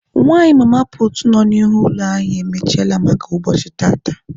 Nwanyị mama puutu nọ n'ihu ụlọ anyị emechiele maka ụbọchị tata.